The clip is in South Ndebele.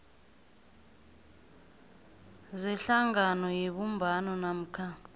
zehlangano yebumbano namkha